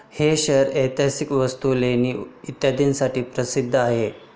हे शहर ऐतिहासिक वस्तू, लेणी इत्यादींसाठी प्रसिद्ध आहे.